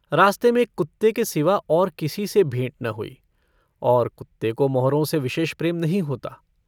रास्ते में एक कुत्ते के सिवा और किसी से भेंट न हुई और कुत्ते को मोहरों से विशेष प्रेम नहीं होता।